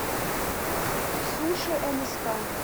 суши нск